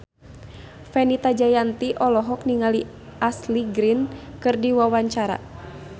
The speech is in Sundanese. Fenita Jayanti olohok ningali Ashley Greene keur diwawancara